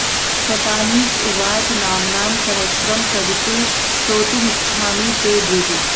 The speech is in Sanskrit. शतानीक उवाच नाम्नां सहस्रं सवितुः श्रोतुमिच्छामि ते द्विज